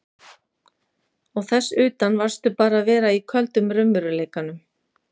Og þess utan varðstu bara að vera í köldum raunveruleikanum.